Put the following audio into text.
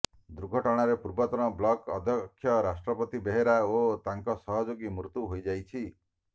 ଦୁର୍ଘଟଣାରେ ପୂର୍ବତନ ବ୍ଲକ ଅଧ୍ୟକ୍ଷ ରାଷ୍ଟ୍ରପତି ବେହେରା ଓ ତାଙ୍କ ସହଯୋଗୀଙ୍କ ମୃତ୍ୟୁ ହୋଇଯାଇଛି